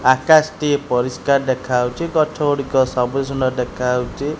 ଆକାଶ ଟି ପରିସ୍କାର ଦେଖାଅଉଚି। ଗଛ ଗୁଡ଼ିକ ସବୁଜ ସୁନ୍ଦର୍ ଦେଖାଅଉଚି।